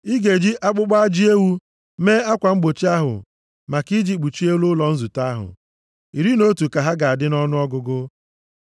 “Ị ga-eji akpụkpọ ajị ewu mee akwa mgbochi maka i ji kpuchie elu ụlọ nzute ahụ. Iri na otu ka ha ga-adị nʼọnụọgụgụ.